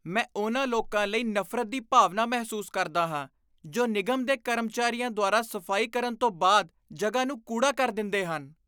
ਮੈਂ ਉਨ੍ਹਾਂ ਲੋਕਾਂ ਲਈ ਨਫ਼ਰਤ ਦੀ ਭਾਵਨਾ ਮਹਿਸੂਸ ਕਰਦਾ ਹਾਂ ਜੋ ਨਿਗਮ ਦੇ ਕਰਮਚਾਰੀਆਂ ਦੁਆਰਾ ਸਫ਼ਾਈ ਕਰਨ ਤੋਂ ਬਾਅਦ ਜਗ੍ਹਾ ਨੂੰ ਕੂੜਾ ਕਰ ਦਿੰਦੇ ਹਨ।